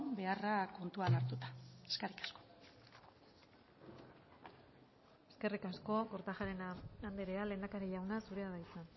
beharra kontuan hartuta eskerrik asko eskerrik asko kortajarena andrea lehendakari jauna zurea da hitza